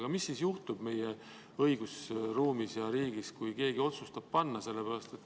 Aga mis siis juhtub meie õigusruumis ja riigis, kui keegi otsustab sellise nime panna?